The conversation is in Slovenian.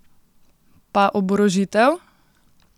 Pa oborožitev?